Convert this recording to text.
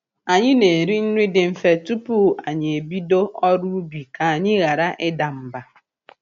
Anyị na-eri nri dị mfe tupu anyị e bido ọrụ ubi ka anyị ghara ịda mba.